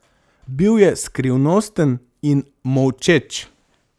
Bil je skrivnosten in molčeč.